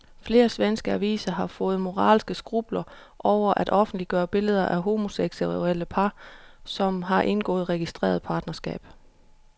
Flere svenske aviser har fået moralske skrupler over at offentliggøre billeder af homoseksuelle par, som har indgået registreret partnerskab.